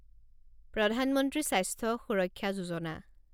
প্ৰধান মন্ত্ৰী স্বাস্থ্য সুৰক্ষা যোজনা